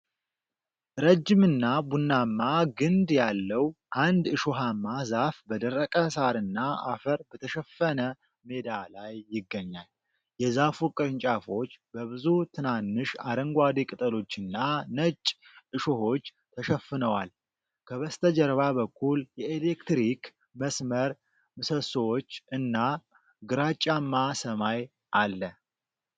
ረጅምና ቡናማ ግንድ ያለው አንድ እሾሃማ ዛፍ በደረቀ ሳርና አፈር በተሸፈነ ሜዳ ላይ ይገኛል። የዛፉ ቅርንጫፎች በብዙ ትናንሽ አረንጓዴ ቅጠሎችና ነጭ እሾሆች ተሸፍነዋል። ከበስተጀርባ በኩል የኤሌክትሪክ መስመር ምሰሶዎች እና ግራጫማ ሰማይ አለ።